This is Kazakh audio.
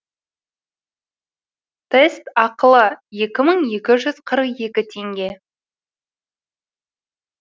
тест ақылы екі мың екі жүз қырық екі теңге